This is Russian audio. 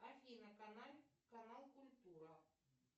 афина канал культура